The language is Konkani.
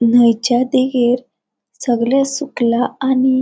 न्हयच्या देगेर सगळे सुकला आणि --